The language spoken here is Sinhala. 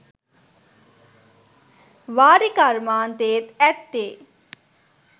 වාරි කර්මාන්තයේත් ඇත්තේ